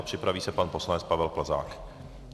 A připraví se pan poslanec Pavel Plzák.